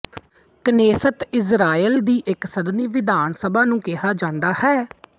Knesset Israel ਦੀ ਇੱਕ ਸਦਨੀ ਵਿਧਾਨ ਸਭਾ ਨੂੰ ਕਿਹਾ ਜਾਂਦਾ ਹੈ